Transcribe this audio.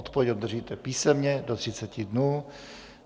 Odpověď obdržíte písemně do 30 dnů.